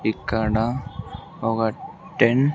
ఇక్కడ ఒక టేన్ .